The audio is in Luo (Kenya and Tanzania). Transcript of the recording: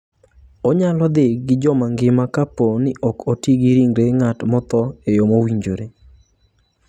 Onyalo dhi gi joma ngima kapo ni ok oti gi ringre ng'at motho e yo mowinjore.